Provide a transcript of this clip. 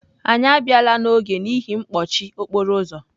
Anyị abịala n'oge n'ihi mkpọchi okporo ụzọ.